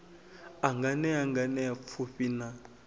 a nganea nganea pfufhi na